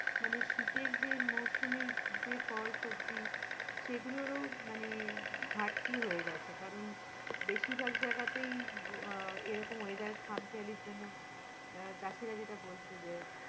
মানে শীতের যে মৌসুমি যে ফল সবজি সেগুলোরও ঘারতি হয়ে গেছে কারণ, বেশিভার যায়গাতেই আহ এইরকম weather খামখেওয়ারলির জন্য আহ চাষিরা যেটা বলছে যে